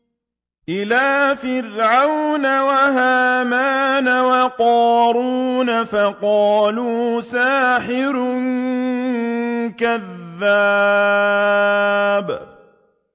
إِلَىٰ فِرْعَوْنَ وَهَامَانَ وَقَارُونَ فَقَالُوا سَاحِرٌ كَذَّابٌ